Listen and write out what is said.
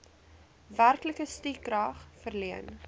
werklike stukrag verleen